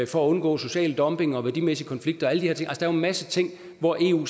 for at undgå social dumping værdimæssige konflikter og alle de her ting der er en masse ting hvor eu